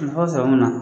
Nafa sɔrɔ mun na